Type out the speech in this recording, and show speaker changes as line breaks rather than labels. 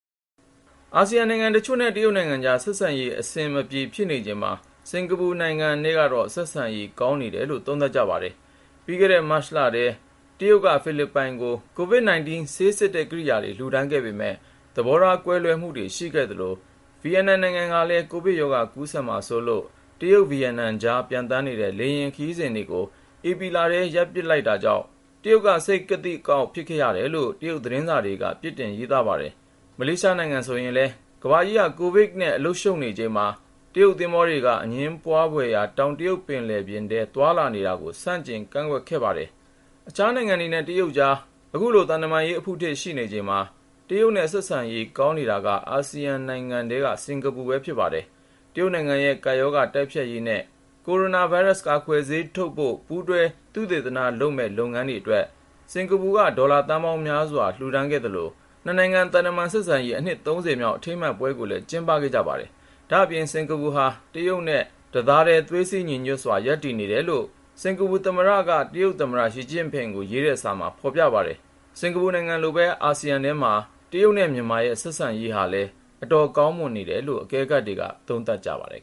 အာဆီယံနိုင်ငံတချို့နဲ့ တရုတ်နိုင်ငံကြား ဆက်ဆံရေး အဆင်မပြေ ဖြစ်နေချိန်မှာ စင်ကာပူနိုင်ငံနဲ့ကတော့ ဆက်ဆံရေး ကောင်းနေတယ်လို့ သုံးသပ်ကြပါတယ်။ ပြီးခဲ့တဲ့ မတ်လထဲမှာ တရုတ်က ဖိလစ်ပိုင်ကို COVID-19 ဆေးစစ်တဲ့ ကိရိယာတွေ လှူဒါန်းခဲ့ပေမယ့် သဘောထား ကွဲပြားမှုတွေ ရှိခဲ့သလို ဗီယက်နမ်နိုင်ငံကလည်း ကိုဗစ်ရောဂါ ကူးစက်မှာစိုးလို့ တရုတ်-ဗီယက်နမ်ကြား ပျံသန်းနေတဲ့ လေယာဉ်ခရီးစဉ်တွေကို ဧပြီလထဲမှာ ရပ်ပစ်ခဲ့တာကြောင့် တရုတ်ကို စိတ်ကသိကအောက် ဖြစ်စေခဲ့တယ်လို့ တရုတ်သတင်းစာတွေက ပြစ်တင် ရေးသားပါတယ်။ မလေးရှားနိုင်ငံဆိုရင်လည်း ကမ္ဘာကြီးမှာ ကိုဗစ်ကပ်ရောဂါနဲ့ အားလုံး အလုပ်ရှုပ်နေချိန်မှာ တရုတ်သင်္ဘောတွေက အငြင်းပွားနေတဲ့ တောင်တရုတ်ပင်လယ်ပြင်ထဲ သွားလာနေတာကို ဆန့်ကျင်ကန့်ကွက်ခဲ့ပါတယ်။ အခြားနိုင်ငံတွေနဲ့ တရုတ်ကြား အဲဒီလို သံတမန်ရေး အဖုထစ် ရှိနေချိန်မှာ တရုတ်နဲ့ ဆက်ဆံရေး ကောင်းနေတာက အာဆီယံထဲမှာ စင်ကာပူပဲ ဖြစ်ပါတယ်။ တရုတ်နိုင်ငံရဲ့ ကပ်ရောဂါတိုက်ဖျက်ရေးနဲ့ ကိုရိုနာဗိုင်းရပ်စ် ကာကွယ်ဆေးထုတ်ဖို့ ပူးတွဲ သုတေသန လုပ်ငန်းတွေအတွက် စင်ကာပူက ဒေါ်လာသန်းပေါင်းများစွာ လှူဒါန်းခဲ့သလို နှစ်နိုင်ငံ သံတမန်ဆက်ဆံရေး အနှစ် ၃၀ မြောက် အထိမ်းအမှတ်ပွဲကိုလည်း ကျင်းပခဲ့ကြပါတယ်။ ဒါ့အပြင် စင်ကာပူဟာ တရုတ်နဲ့ သွေးစည်းညီညွတ်စွာ ရပ်တည်နေပါတယ်လို့ စင်ကာပူသမ္မတ Halimah Yacob က တရုတ်သမ္မတ Xi Jinping ဆီ ရေးတဲ့စာမှာ ဖော်ပြခဲ့ပါတယ်။ စင်ကာပူနိုင်ငံလိုပဲ အာဆီယံထဲမှာ ကိုဗစ်ကပ်ရောဂါ ကာလအတွင်း တရုတ်နဲ့ မြန်မာရဲ့ ဆက်ဆံရေးဟာ အတော်ကောင်းမွန်တယ်လို့ အကဲခတ်တွေ သုံးသပ်ကြပါတယ်